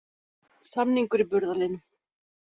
Samningur í burðarliðnum